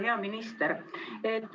Hea minister!